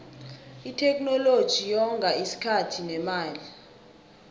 itheknoloji yonga isikhathi nemali